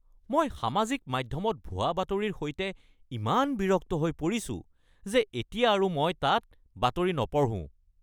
মই সামাজিক মাধ্যমত ভুৱা বাতৰিৰ সৈতে ইমান বিৰক্ত হৈ পৰিছো যে এতিয়া আৰু মই তাত বাতৰি নপঢ়ো।